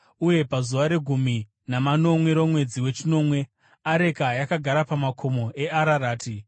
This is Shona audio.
uye pazuva regumi namanomwe romwedzi wechinomwe, areka yakagara pamakomo eArarati.